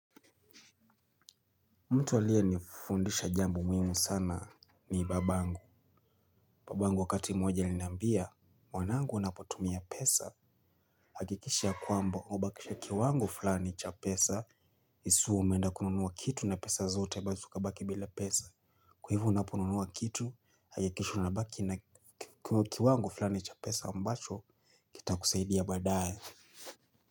Mtu alie nifundisha jambo muhimu sana ni babangu. Babangu wakati mmoja alinambia, mwanangu unapotumia pesa. Hakikisha kwamba, ubakishe kiwango fulani cha pesa. Isiwe umeenda kununuwa kitu na pesa zote, ibaki ubaki bila pesa. Kwa hivyo unaponunuwa kitu, hakikisha unabaki na kiwango fulani cha pesa ambacho, kitakusaidia baadae.